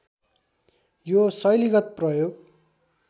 यो शैलीगत प्रयोग